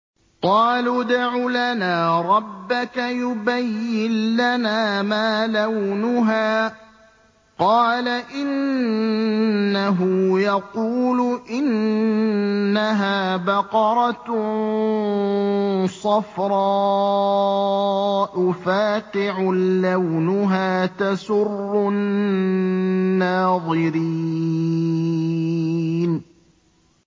قَالُوا ادْعُ لَنَا رَبَّكَ يُبَيِّن لَّنَا مَا لَوْنُهَا ۚ قَالَ إِنَّهُ يَقُولُ إِنَّهَا بَقَرَةٌ صَفْرَاءُ فَاقِعٌ لَّوْنُهَا تَسُرُّ النَّاظِرِينَ